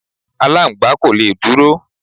Aláǹgbá kò le dúró.